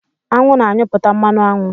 Anwụ na anyuputa mmanụ aṅụ